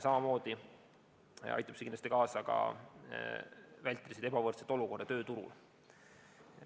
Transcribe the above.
Samas aitab see kindlasti vältida ebavõrdset olukorda tööturul.